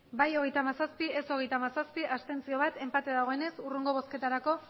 bai hogeita hamazazpi ez hogeita hamazazpi abstentzioak bat enpate dagoenez hurrengo bozketarako